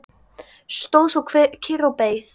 Stóð svo kyrr og beið.